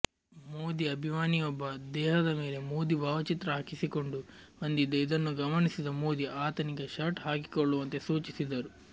ಮೋದಿ ಅಭಿಮಾನಿಯೊಬ್ಬ ದೇಹದ ಮೇಲೆ ಮೋದಿ ಭಾವಚಿತ್ರ ಹಾಕಿಸಿಕೊಂಡು ಬಂದಿದ್ದ ಇದನ್ನು ಗಮನಿಸಿದ ಮೋದಿ ಆತನಿಗೆ ಶರ್ಟ್ ಹಾಕಿಕೊಳ್ಳುವಂತೆ ಸೂಚಿಸಿದರು